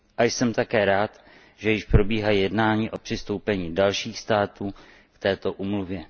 A jsem také rád, že již probíhají jednání o přistoupení dalších států k této úmluvě.